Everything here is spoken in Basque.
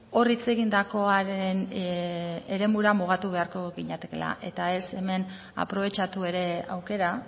hor hitz egindakoaren eremura mugatu beharko ginatekeela eta ez hemen aprobetxatu ere aukera